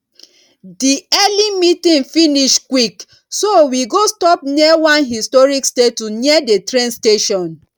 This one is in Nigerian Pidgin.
di early meeting finish quick so we go stop near one historic statue near the train station